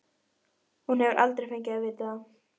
Hún hefur aldrei fengið að vita það.